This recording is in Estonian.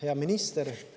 Hea minister!